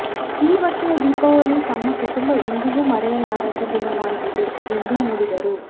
ಈ ವರ್ಷದ ದೀಪಾವಳಿ ತಮ್ಮ ಕುಟುಂಬ ಎಂದಿಗೂ ಮರೆಯಲಾರದ ದಿನವಾಗಿದೆ ಎಂದು ನುಡಿದರು